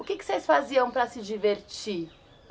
O que vocês faziam para se divertir?